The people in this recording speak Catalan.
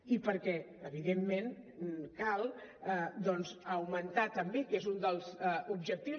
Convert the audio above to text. i perquè evidentment cal doncs augmentar també que és un dels objectius